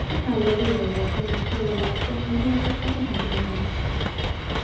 Waxaa laga yaabaa inay ka walaacsan yihiin khataraha deegaanka.